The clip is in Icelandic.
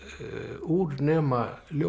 úr nema ljóðum